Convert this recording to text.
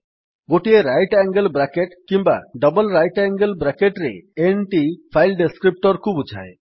ଗୋଟିଏ right angle bracket କିମ୍ବା double right angle bracket ରେ n ଟି ଫାଇଲ୍ descriptorକୁ ବୁଝାଏ